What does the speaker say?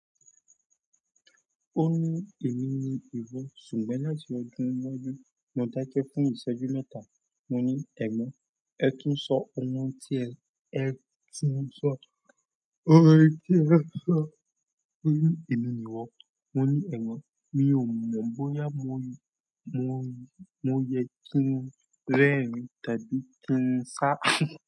Ó ní èmi ni ìwọ ṣùgbọ́n láti ọdún mọ́dún mo dákẹ fún ìṣẹ́jú mẹ́ta. Mo ní ẹ̀gbọ́n ẹ tún sọ ohun tí ẹ, ẹ tún sọ, ohun tí ẹ sọ. Ó ní èmi ni ìwọ. Mo ní ẹ̀gbọ́n, mi ò mọ̀ bóyá mo, mo, mo yẹ kí n rẹ́rìn tàbí kí n sá.